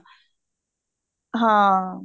ਹਾਂ